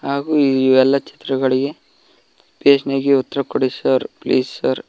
ಹಾಗೂ ಈ ಎಲ್ಲಾ ಚಿತ್ರಗಳಿಗೆ ಪೇಜ್ ನಗೆ ಉತ್ತರ ಕೊಡಿ ಸರ್ ಪ್ಲೀಸ್ ಸರ್ .